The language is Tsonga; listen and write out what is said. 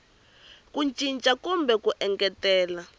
ku cinca kumbe ku engetela